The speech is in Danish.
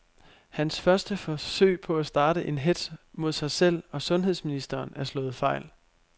Hans første forsøg på at starte en hetz mod sig selv og sundheds ministeren er slået fejl.